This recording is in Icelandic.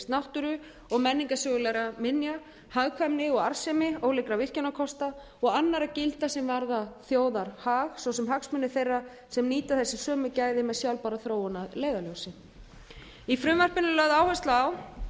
náttúru og menningarsögulegra minja hagkvæmni og arðsemi ólíkra virkjunarkosta og annarra gilda sem varða þjóðarhag svo sem hagsmuni þeirra sem nýta þessi sömu gæði með sjálfbæra þróun að leiðarljósi í frumvarpinu er lögð áhersla á